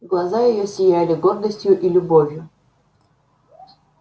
глаза её сияли гордостью и любовью